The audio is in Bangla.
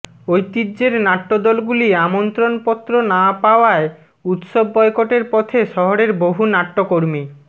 ঐতিহ্যের নাট্যদলগুলি আমন্ত্রণ পত্র না পাওয়ায় উৎসব বয়কটের পথে শহরের বহু নাট্যকর্মী